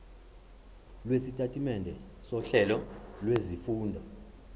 lwesitatimende sohlelo lwezifundo